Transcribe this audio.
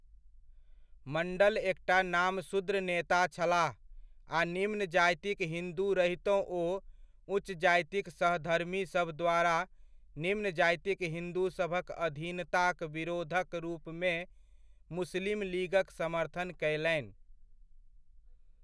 मण्डल एकटा नामशूद्र नेता छलाह आ निम्न जातिक हिन्दू रहितहुँ ओ उच्च जातिक सहधर्मीसभ द्वारा निम्न जातिक हिन्दूसभक अधीनताक विरोधक रूपमे मुस्लिम लीगक समर्थन कयलनि।